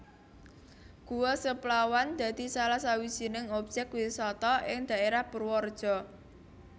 Guwa Seplawan dadi salah sawijining objèk wisata ing daèrah Purwareja